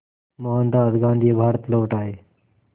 मोहनदास गांधी भारत लौट आए